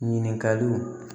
Ɲininkaliw